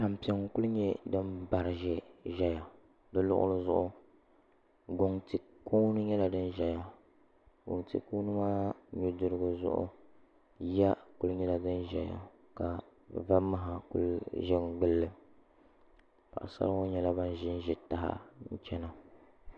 Tampiŋ n ku nyɛ din bari ʒɛya di luɣuli zuɣu guŋ ti kuuni nyɛla din ʒɛya guŋ ti kuuni maa nudirigu zuɣu yiya ku nyɛla din ʒɛya ka va naha ku ʒɛ n mirili paɣasara ŋo nyɛla bin ʒinʒi taha n chɛna